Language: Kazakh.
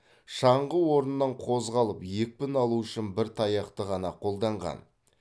шаңғы орнынан қозғалып екпін алу үшін бір таяқты ғана қолданған